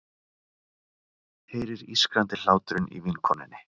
Heyrir ískrandi hláturinn í vinkonunni.